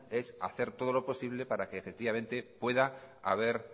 es hacer todo lo posible para que efectivamente pueda haber